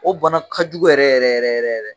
O bana ka jugu yɛrɛ yɛrɛ yɛrɛ yɛrɛ yɛrɛ